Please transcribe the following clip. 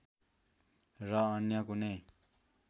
र अन्य कुनै